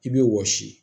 I bɛ wɔsi